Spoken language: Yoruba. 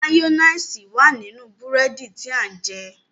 Mayonnaise wá nínú búrẹ́dì tí a jẹ.